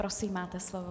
Prosím, máte slovo.